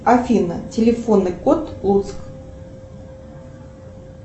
афина телефонный код луцк